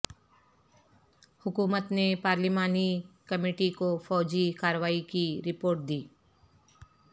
حکومت نے پارلیمانی کمیٹی کو فوجی کارروائی کی رپورٹ دی